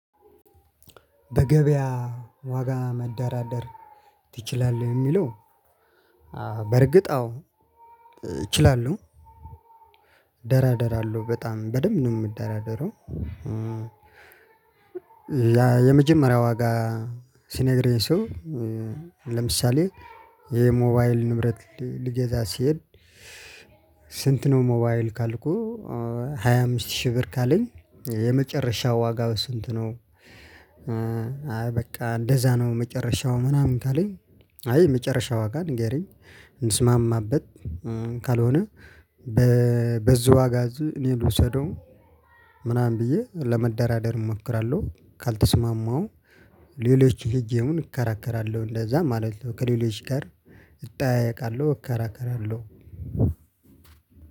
በገበያ ዋጋ መደራደር ትችላለህ ለሚለው? በእርግጥ አዎ እችላለሁ ደራደራለሁ በጣም በደንብ ነው የምደራደረው። የመጀመሪያው ዋጋ ሲነግረኝ ሰው ለምሳሌ የሞባይል ንብረት ልገዛ ሲሄድ። ስንት ነው ሞባይል ክልኩ? ሃያ አምስት ሺህ ብር ነው ካለኝ የመጨረሻ ዋጋው ስንት ነው? አይ በቃ እንደዛ ነው መጨረሻው ምናምን ካለኝ አይ መጨረሻ ዋጋ ንገረኝ እንስማማበት። ካልሆነ በዝህ ዋጋዝ እኔ ልውሰደው ምናምን ብዬ ለመደራደር እሞክራለሁ። ካልተስማማው ሌሎች ሄጄውን እከራከራለሁ እንደዛ ማለት ነው። ከሌሎች ጋር እጠያየቃለሁ እከራከራለሁ።